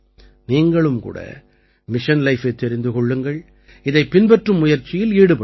நீங்களும் கூட மிஷன் Lifeஐத் தெரிந்து கொள்ளுங்கள் இதைப் பின்பற்றும் முயற்சியில் ஈடுபடுங்கள்